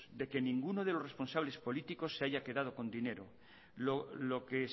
de que ninguno de los responsables políticos se haya quedado con dinero lo que